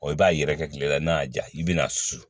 i b'a yɛrɛkɛ tile la n'a y'a ja i bɛna susu